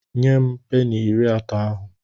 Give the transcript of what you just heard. Nye m peni iri atọ ahụ!